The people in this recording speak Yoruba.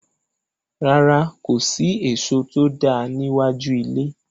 Rárá, kò sí èso tó dáa ní iwájú ilé.